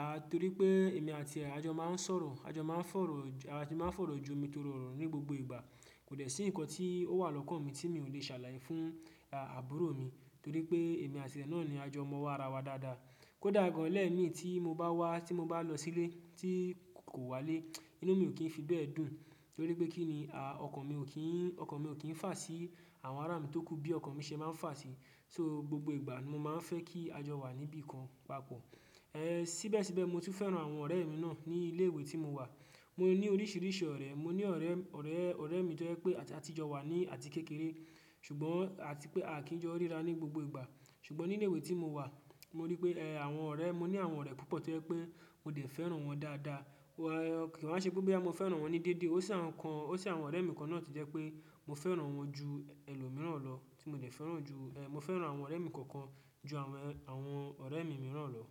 A, torí pé èmi àti é, àjọ máa ń sọ̀rọ̀, àjọ máa ń fọ̀rọ̀, àjọ máa ń fọ̀rọ̀ jomi torọ orọ̀ ní gbogbo ìgbà. Kò dẹ̀ sí nǹkan tí ó wà lọ́kàn mi tí mi ò lè ṣàlàyé fún, a, àbúrò mi torí pé èmi àti é náà ni àjọ mọ́ wo ara wa dáadáa. Kódà gan lẹ́ẹ̀mi tí mo bá wá, tí mo bá lọ sílé tí kò wá lé, inú mi ò kí n fi bẹ́ẹ̀ dùn torí pé kí ni, a, ọkàn mi ò kí n, ọkàn mi ò kí n fà sí àwọn ará mi tókù bí ọkàn mi ṣe máa ń fà sí. So gbogbo ìgbà ni mo máa ń fẹ́ kí àjọ wà níbí kan papọ̀. E, síbẹ̀síbẹ̀ mo tún fẹ́ràn àwọn ọ̀rẹ́ mi náà ní ilé ìwé tí mo wà. Mo ní oríṣiríṣi ọ̀rẹ́. Mo ní ọ̀rẹ́, ọ̀rẹ́, ọ̀rẹ́ mi to jẹ́ pé a ti jọ wà ní àti kékeré, ṣùgbọ́n àti pé a kìí jọ ríra ní gbogbo ìgbà. Ṣùgbọ́n ní ilé ìwé tí mo wà, mo rí pé, ẹ, àwọn ọ̀rẹ́, mo ní àwọn ọ̀rẹ́ púpọ̀ tó jẹ́ pé mo dẹ̀ fẹ́ràn wọ́n dáadáa. Kò wá ṣe pé bóyá mo fẹ́ràn wọ́n ni déédé. Ó sì àwọn kan, ó sì àwọn ọ̀rẹ́ mi kan náà tí jẹ́ pé mo fẹ́ràn wọ́n ju ẹlòmíràn lọ, tí mo dẹ̀ fẹ́ràn ju, ẹ, mo fẹ́ràn àwọn ọ̀rẹ́ mi kọ̀ọ̀kan ju àwọn, àwọn ọ̀rẹ́ mi mìíràn lọ.